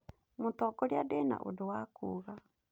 Mũtongoria ndĩna ũndũ wa kuga.